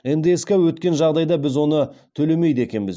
ндс ке өткен жағдайда біз оны төлемейді екенбіз